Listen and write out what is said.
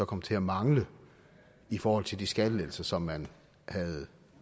kom til at mangle i forhold til de skattelettelser som man havde